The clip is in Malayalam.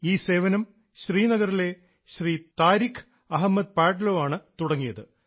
ഈ സേവനം ശ്രീനഗറിലെ ശ്രീ താരിഖ് അഹമ്മദ് പാട്ലോ ആണ് തുടങ്ങിയത്